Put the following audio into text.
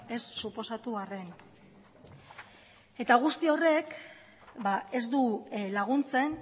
ez suposatu arren guzti horrek ez du laguntzen